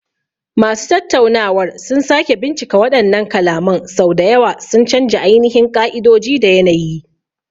Masu tattaunawar sun sake bincika waɗannan kalaman sau da yawa, sun canja ainihin ƙa'idoji da yanayi.